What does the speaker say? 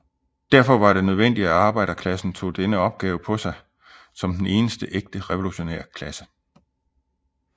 Derfor var det nødvendigt at arbejderklassen tog denne opgave på sig som den eneste ægte revolutionære klasse